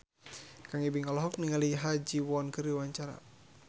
Kang Ibing olohok ningali Ha Ji Won keur diwawancara